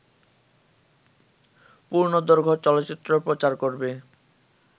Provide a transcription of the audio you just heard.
পূর্ণদৈর্ঘ্য চলচ্চিত্র প্রচার করবে